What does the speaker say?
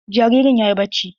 Jaririn yayi bacci.